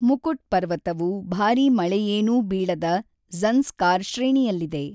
ಮುಕುಟ್ ಪರ್ವತವು ಭಾರೀ ಮಳೆಯೇನೂ ಬೀಳದ ಜ಼ನ್‍ಸ್ಕಾರ್ ಶ್ರೇಣಿಯಲ್ಲಿದೆ.